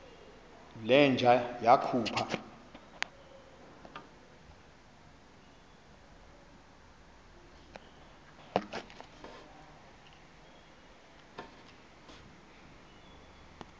le nja yakhupha